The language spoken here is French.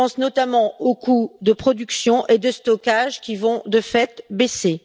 Je pense notamment aux coûts de production et de stockage qui vont, de fait, baisser.